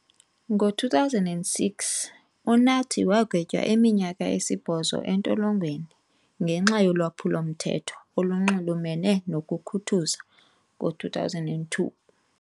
Ngo-2006, uNathi wagwetywa iminyaka esibhozo entolongweni ngenxa yolwaphulo-mthetho olunxulumene nokukhuthuza ngo-2002.